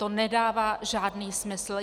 To nedává žádný smysl!